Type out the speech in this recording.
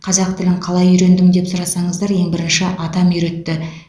қазақ тілін қалай үйрендің деп сұрасаңыздар ең бірінші атам үйретті